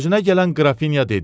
Özünə gələn Qrafinya dedi: